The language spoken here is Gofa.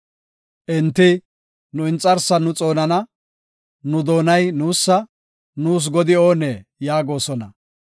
Enti, “Nu inxarsan nu xoonana; nu doonay nuusa; nuus godi oonee?” yaagosona.